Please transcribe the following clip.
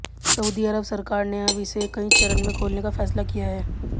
Saudi Arab सरकार ने अब इसे कई चरण में खोलने का फैसला किया है